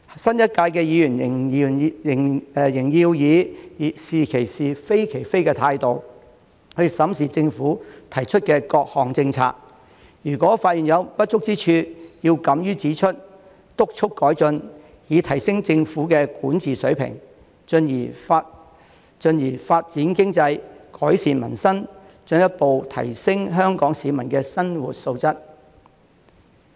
新一屆的議員仍要以"是其是，非其非"的態度審視政府提出的各項政策，如果發現有不足之處，要敢於指出、督促改進，以提升政府的管治水平，進而發展經濟、改善民生，進一步提高香港市民的生活質素。